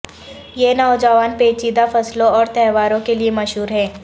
یہ نوجوان پیچیدہ فصلوں اور تہواروں کے لئے مشہور ہے